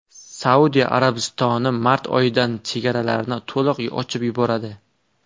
Saudiya Arabistoni mart oxiridan chegaralarni to‘liq ochib yuboradi.